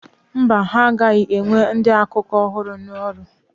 Mba, ha agaghị ewe ndị nta akụkọ ọhụrụ n'ọrụ.